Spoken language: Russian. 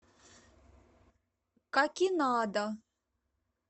какинада